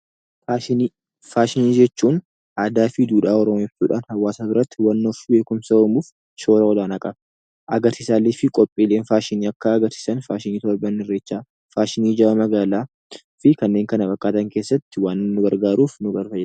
Faashinii jechuun aadaa fi duudhaa Oromoo jechuudha. Hawaasa biratti hubannoo fi beekumsa uumuuf shoora olaanaa qaba. Agarsiisaalee fi qophiileen faashinii akka agarsiisan faashinii ayyaana Irreechaa, faashinii jaalala gaa'elaa fi kanneen kana fakkaatan keessatti waan nu gargaaruuf nu fayyada.